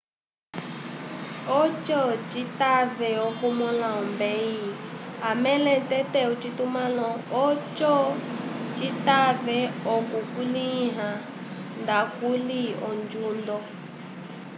oco citave okumõla ombeyi amõle tete ocitumãlo oco citave okukulĩha ndakuli onjundo